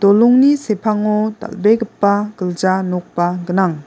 dolongni sepango dal·begipa gilja nokba gnang.